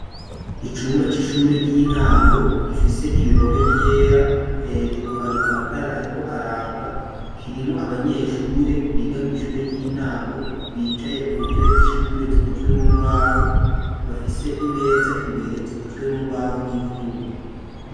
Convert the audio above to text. Icumba c'ishure ry'intango gifise ibihome vyera hejuru hari amatara ariko araka kirimwo abanyeshure biga mw'ishure ry'intango bicaye ku ntebe z'ishure zikozwe mu mbaho bafise imeza imbere zikozwe mu mbaho n'ivyuma.